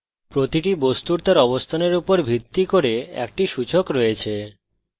প্রতিটি বস্তুর তার অবস্থানের উপর ভিত্তি করে একটি সূচক রয়েছে